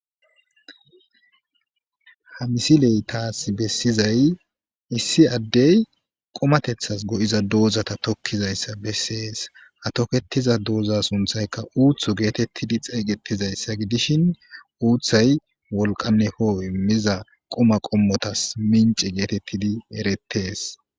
Ha misiley tas besizay issi Adey qumatethas go'iza dozata tokizaysa beses, ha toketiza dooza sunthayka uuthu getetid xeysetizaysa gidishn uuthay wolqa ho'o imiza quma qomotas mince getetid eretes.